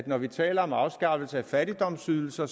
når vi taler om afskaffelse af fattigdomsydelser